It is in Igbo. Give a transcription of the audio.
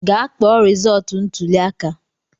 Gaa kpọọ resọọtu ntụli aka!